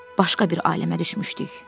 Başqa bir aləmə düşmüşdük.